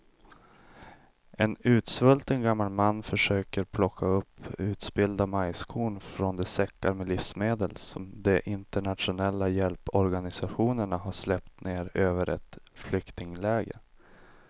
En utsvulten gammal man försöker plocka upp utspillda majskorn från de säckar med livsmedel som de internationella hjälporganisationerna släppt ner över ett flyktingläger.